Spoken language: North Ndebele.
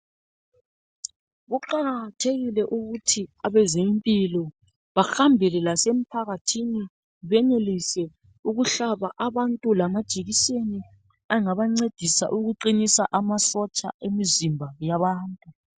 Kuqakathekile ukuthi abezempilo bahambele lasemphakathini . Benelise ukuhlaba abantu ngamajekiseni angabancedisa amasotsho emizimba yabantu.